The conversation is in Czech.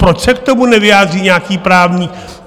Proč se k tomu nevyjádří nějaký právník?